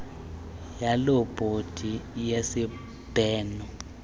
waloo bhodi yesibheno